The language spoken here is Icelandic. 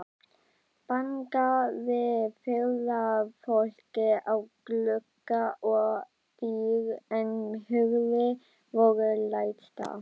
Bankaði ferðafólkið á glugga og dyr, en hurðir voru læstar.